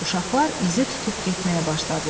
Uşaqlar izi tutub getməyə başladılar.